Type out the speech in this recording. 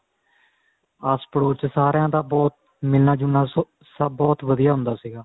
ਆਸ ਪੜੋਸ ਚ ਸਾਰੀਆਂ ਦਾ ਬਹੁਤ ਮਿਲਣਾ ਜੁਲਣਾ ਬਹੁਤ ਵਧੀਆ ਹੁੰਦਾ ਸੀਗਾ